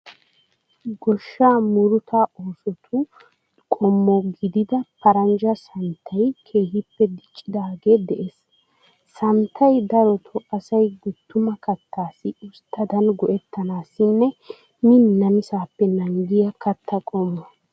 Goshshaa murutaa oosotu qommo gidida paranjja sanittay keehippe diccidaagee de'ees. Sanittay darotoo asay guttuma kattaassi usittadan go'ettanaassinne miin namisaappe naagiya katta qommo.